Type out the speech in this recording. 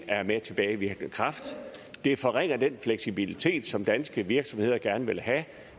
er med tilbagevirkende kraft det forringer den fleksibilitet som danske virksomheder gerne vil have